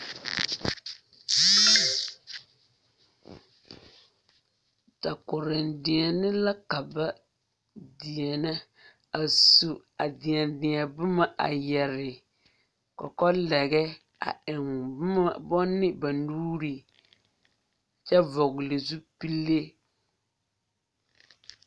Dakota deɛne la ka deɛnɛ a su a deɛne deɛdeɛ boma yɛre kɔkɔlɛgɛ a eŋ banne ba nuuri kyɛ vɔgle zupille.